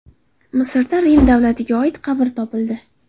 Misrda Rim davriga oid qabr topildi.